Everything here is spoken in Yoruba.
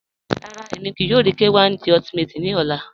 Rárá, ẹ̀mi kíí yòò rí K1 De Ultimate ni ọ̀là